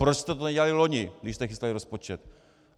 Proč jste to nedělali loni, když jste chystali rozpočet?